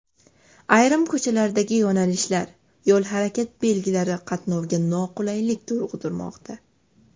Ayrim ko‘chalardagi yo‘nalishlar, yo‘l harakati belgilari qatnovga noqulaylik tug‘dirmoqda.